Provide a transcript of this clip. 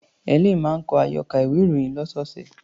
Helen máa ń kọ àyọkà ìwé-ìròyìn ọlọ́sọ̀ọ̀sẹ̀.